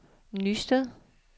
Nysted